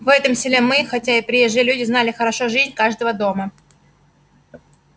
в этом селе мы хотя и приезжие люди знали хорошо жизнь каждого дома